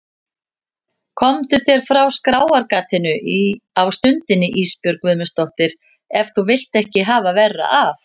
Komdu þér frá skráargatinu á stundinni Ísbjörg Guðmundsdóttir ef þú vilt ekki hafa verra af.